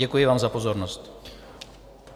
Děkuji vám za pozornost.